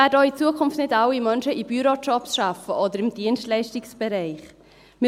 Auch in Zukunft werden nicht alle Menschen in Bürojobs oder im Dienstleistungsbereich arbeiten.